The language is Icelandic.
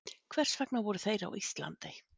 Hvers vegna voru þeir á Íslandi?